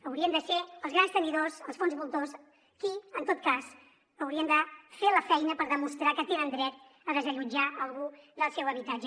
haurien de ser els grans tenidors els fons voltors qui en tot cas haurien de fer la feina per demostrar que tenen dret a desallotjar algú del seu habitatge